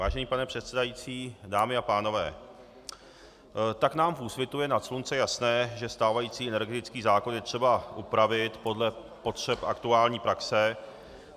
Vážený pane předsedající, dámy a pánové, tak nám v Úsvitu je nad slunce jasné, že stávající energetický zákon je třeba upravit podle potřeb aktuální praxe.